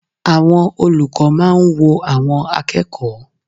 Àwọn olùkọ́ máa ń wo àwọn akẹ́kọ̀ọ́.